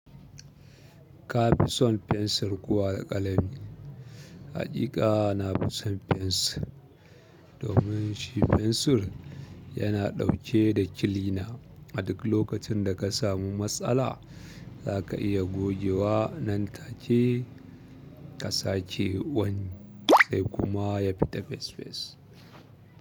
Ka fi son fensir ko alƙalami? Haƙiƙa na fi son fensir domin shi fensir yana ɗauke da kilina. A duk lokacin da ka samu matsala za ka iya gogewa nan take ka sake wani sai kuma ya fita fes fes.